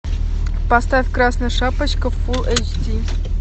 поставь красная шапочка фулл эйч ди